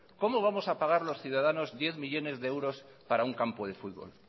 cómo vamos a pagar los ciudadanos diez millónes de euros para un campo de fútbol